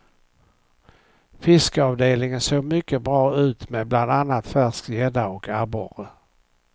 Fiskavdelningen såg mycket bra ut med bland annat färsk gädda och abborre.